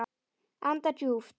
Anda djúpt.